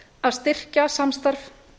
að styrkja samstarf